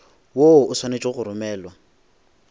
woo o swanetše go romelwa